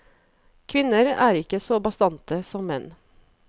Kvinner er ikke så bastante som menn.